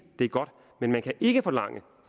det er godt men man kan ikke forlange